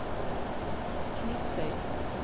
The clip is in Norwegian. Kvitsøy